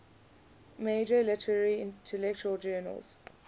major literary intellectual journals